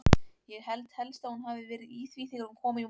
Ég held helst að hún hafi verið í því þegar hún kom í morgun.